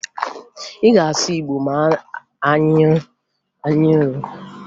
Ị ga-asụ Igbo ma anyị ruo!